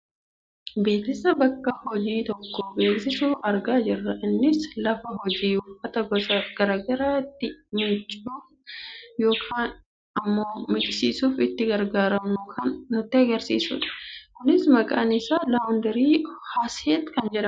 Beeksisa bakka hojii tokko beeksisu argaa jirra. Innis lafa hojii uffata gosa gara garaa itti miiccuuf yookaan ammoo miiccisiifachuuf itti gargaarramnu kan nutti agarsiisudha. Kunis maqaan isaa laawundarii Haset kan jedhamudha.